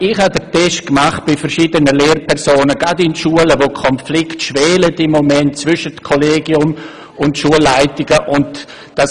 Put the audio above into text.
Ich habe bei verschiedenen Lehrpersonen, gerade in Schulen, wo gegenwärtig Konflikte zwischen Kollegium und Schulleitungen schwelen, einen Test gemacht.